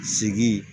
Sigi